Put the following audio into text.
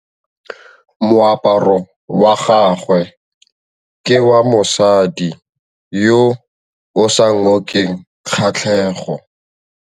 Moaparô wa gagwe ke wa mosadi yo o sa ngôkeng kgatlhegô.